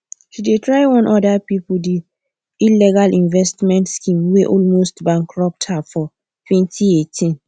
she dey try warm other about the illegal investment scheme whey almost bankrupt her for 2018